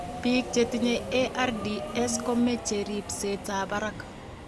Biko chetinye ARDS ko meche ribsetab barak.